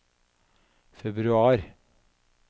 februar